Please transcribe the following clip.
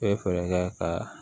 E bɛ fɛɛrɛ kɛ ka